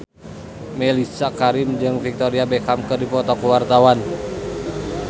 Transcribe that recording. Mellisa Karim jeung Victoria Beckham keur dipoto ku wartawan